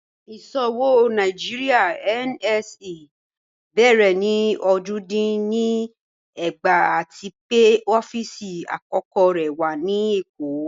Iṣowo Nàìjíríà (NSE) bẹ̀rẹ̀ ni ojì dín ní ẹ̀gbàá àti pẹ̀ ọ̀fíìsì akọ̀kọ̀ rẹ̀ wà ni Ékó.